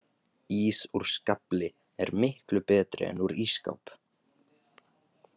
Ís úr skafli er miklu betri en úr ísskáp